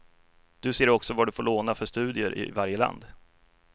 Du ser också vad du får låna för studier i varje land.